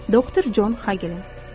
Doktor Con Xagelin.